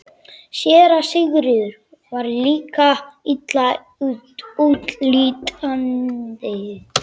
SÉRA SIGURÐUR: Var líkið illa útlítandi?